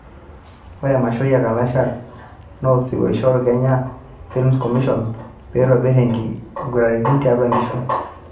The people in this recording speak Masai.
Ore emashoi e kalasha na osirua oishoru Kenya film commision peitobir inkiguraitin tiatua inkishu